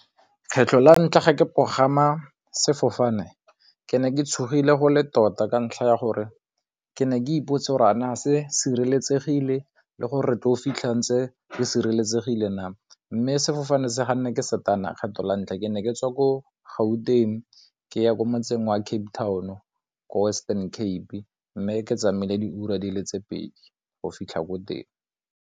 Kgetlho la ntlha ke pogama sefofane ke ne ke tshogile go le tota ka ntlha ya gore ke ne ke ipotsa gore naa se sireletsegile le go re tlo fitlha ntse re sireletsegile naa, mme sefofane se ga nna ke satane kgetho la ntlha ke ne ke tswa ko Gauteng ke ya ko motseng wa Cape Town o ko Western Cape mme ke tsamaya diura di le tse pedi go fitlha ko teng.